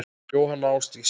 Jóhanna Ásdís.